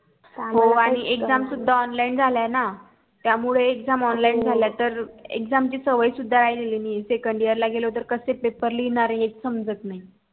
हो आणि exam सुद्धा online झाल्या ना त्या मुळे examonline झाल्या तर exam ची सवय सुद्धा राहिलेली नई second year ला गेलो त कसे पेपर तेच समजत नाही.